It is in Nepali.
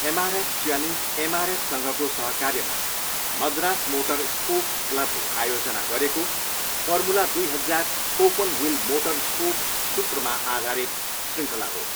एमआरएफ च्यालेन्ज एमआरएफसँगको सहकार्यमा मद्रास मोटर स्पोर्ट्स क्लबले आयोजना गरेको फर्मुला दुई हजार ओपनव्हिल मोटर स्पोर्ट सूत्रमा आधारित शृङ्खला हो।